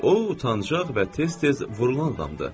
O utancaq və tez-tez vurulan adamdır.